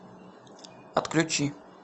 отключи